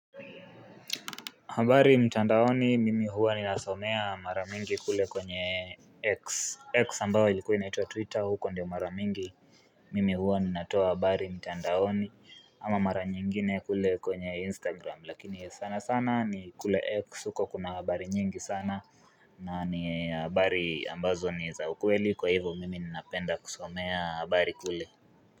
Habari mtandaoni mimi huwa ninasomea mara mingi kule kwenye X. X ambayo ilikuwa inaitwa twitter huko ndio maramingi mimi huwa ninatoa habari mtandaoni ama mara nyingine kule kwenye instagram lakini sana sana ni kule X huko kuna habari nyingi sana na ni habari ambazo ni za ukweli kwa hivyo mimi ninapenda kusomea habari kule.